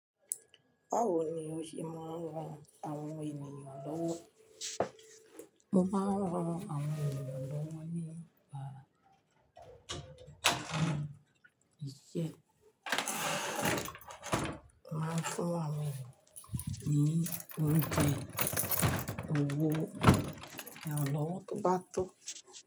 Báwo ni o ṣe máa ń ran àwọn ènìyàn lọ́wọ́? Mo máa ń ran àwọn ènìyàn lọ́wọ́ nípa iṣẹ́. Mo máa n fún àwọn ènìyàn ní oúnjẹ, owó iranlọ́wọ́ tó bá tọ́.